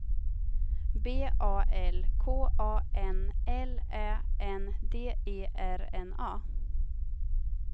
B A L K A N L Ä N D E R N A